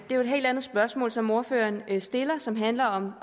det er et helt andet spørgsmål som ordføreren stiller og som handler om